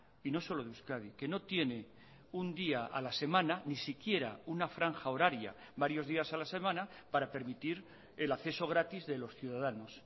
y no solo de euskadi que no tiene un día a la semana ni siquiera una franja horaria varios días a la semana para permitir el acceso gratis de los ciudadanos